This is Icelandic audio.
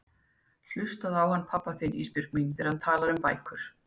Hlustaðu á hann pabba þinn Ísbjörg mín þegar hann talar um bækur.